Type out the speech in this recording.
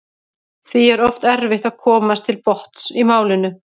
Því er oft erfitt að komast til botns í málinu.